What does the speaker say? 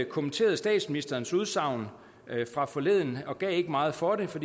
kommenterede statsministerens udsagn fra forleden og ikke gav meget for det for